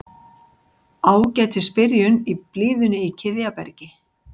Ágætis byrjun í blíðunni í Kiðjabergi